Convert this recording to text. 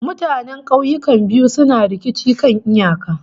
Mutanen kauyukan biyu suna rikicin kan iyaka